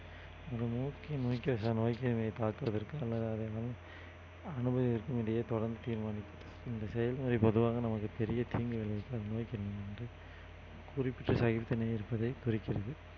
இந்த செயல்முறை பொதுவாக நமக்கு பெரிய தீங்கு நோய் கிருமி என்று குறிக்கிறது